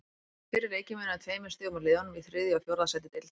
Fyrir leikinn munaði tveimur stigum á liðunum í þriðja og fjórða sæti deildarinnar.